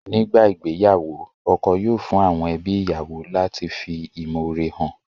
Nígbà ìgbéyàwó, ọkọ yóò fún àwọn ẹbí ìyàwó lati fi ìmọ̀ore han